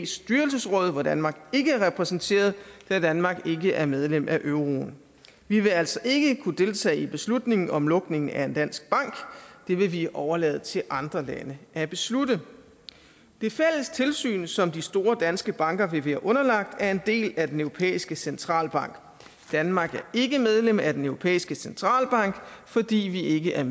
styrelsesråd hvor danmark ikke er repræsenteret da danmark ikke er medlem af euroen vi vil altså ikke kunne deltage i beslutningen om lukningen af en dansk bank det vil vi overlade til andre lande at beslutte det fælles tilsyn som de store danske banker vil blive underlagt er en del af den europæiske centralbank danmark ikke medlem af den europæiske centralbank fordi vi ikke er